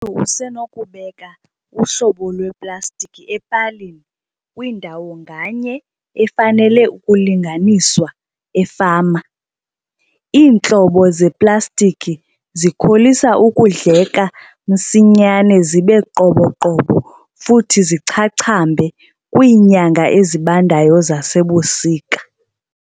ntu usenokubeka uhlobo lweplastikhi epalini kwindawo nganye efanele ukulinganiswa efama. Iintlobo zeplastikhi zikholisa ukudleka msinyane zibe qoboqobo futhi zichachambe kwiinyanga ezibandayo zasebusika.